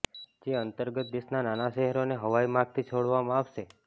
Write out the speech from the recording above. જે અંતર્ગત દેશના નાના શહેરોને હવાઇ માર્ગથી જોડવામાં આવશે